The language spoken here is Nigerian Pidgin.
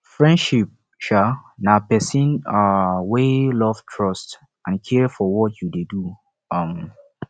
friendships um na pesin um wey love trust and care for what you dey do um